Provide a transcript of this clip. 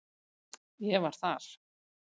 Ég var þar.